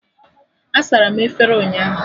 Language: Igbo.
A sara m efere ụnyaahụ